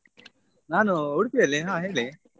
ನಾನು Udupi ಅಲ್ಲಿ ಹಾ ಹೇಳಿ.